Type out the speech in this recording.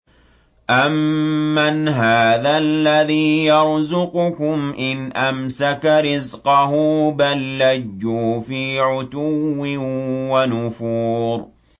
أَمَّنْ هَٰذَا الَّذِي يَرْزُقُكُمْ إِنْ أَمْسَكَ رِزْقَهُ ۚ بَل لَّجُّوا فِي عُتُوٍّ وَنُفُورٍ